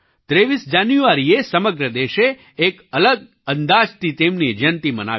23 જાન્યુઆરીએ સમગ્ર દેશે એક અલગ અંદાજથી તેમની જયંતી મનાવી